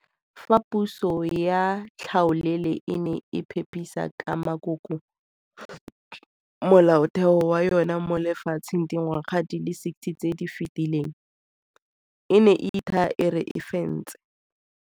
Fa puso ya tlhaolele e ne e pepesa ka makoko Molaotheo wa yona mo lefatsheng dingwaga di le 60 tse di fetileng, e ne e ithaa e re e fentse.